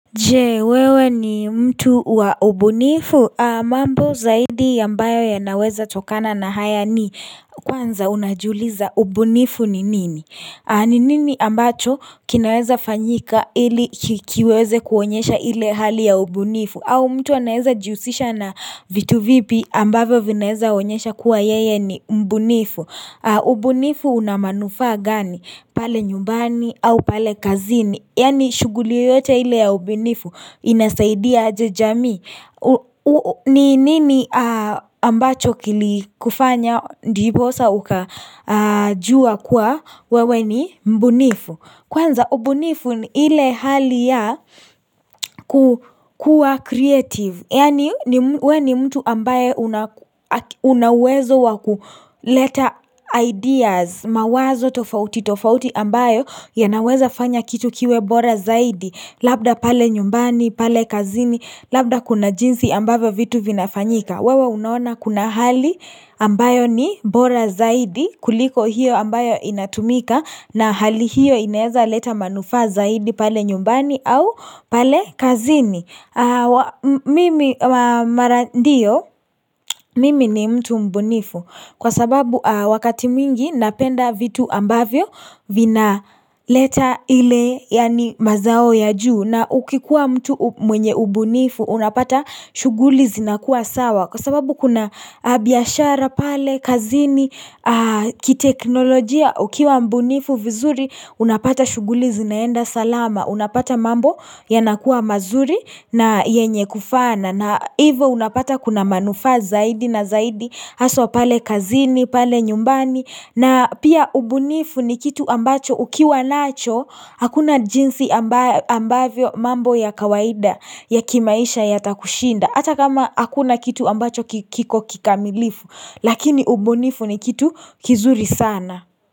Jee wewe ni mtu wa ubunifu mambo zaidi ambayo yanaweza tokana na haya ni kwanza unajiuliza ubunifu ni nini ni nini ambacho kinaweza fanyika ili kiweze kuonyesha ile hali ya ubunifu au mtu anaeza jihusisha na vitu vipi ambavyo vinaeza onyesha kuwa yeye ni mbunifu ubunifu una manufaa gani, pale nyumbani au pale kazini Yaani shughuli yoyote ile ya ubunifu inasaidia aje jamii ni nini ambacho kilikufanya ndiposa ukajua kuwa wewe ni mbunifu Kwanza ubunifu ni ile hali ya kukua creative Yaani we ni mtu ambaye una uwezo wa kuleta ideas mawazo tofauti tofauti ambayo yanaweza fanya kitu kiwe bora zaidi Labda pale nyumbani, pale kazini, labda kuna jinsi ambavyo vitu vinafanyika wewe unaona kuna hali ambayo ni bora zaidi kuliko hiyo ambayo inatumika na hali hiyo inaeza leta manufaa zaidi pale nyumbani au pale kazini Mimi mara ndio, mimi ni mtu mbunifu Kwa sababu wakati mwingi napenda vitu ambavyo Vinaleta ile yaani mazao ya juu na ukikuwa mtu mwenye ubunifu unapata shughuli zinakuwa sawa Kwa sababu kuna biashara pale, kazini, kiteknolojia Ukiwa mbunifu vizuri unapata shughuli zinaenda salama Unapata mambo yanakua mazuri na yenye kufana na ivo unapata kuna manufaa zaidi na zaidi Haswa pale kazini, pale nyumbani na pia ubunifu ni kitu ambacho ukiwa nacho Hakuna jinsi ambavyo mambo ya kawaida ya kimaisha yatakushinda Hata kama hakuna kitu ambacho kiko kikamilifu Lakini ubunifu ni kitu kizuri sana.